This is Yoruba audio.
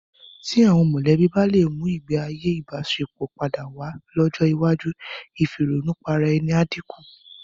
Tí àwọn mọ̀lẹ́bí bá lè mú ìgbéayé ìbáṣepọ̀ padà wá lọ́jọ́ iwájú, ìfìrònùparaẹni á dínkù.